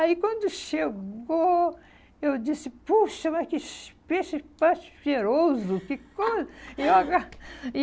Aí, quando chegou, eu disse, puxa, mas que peixe mais cheiroso. Que co e eu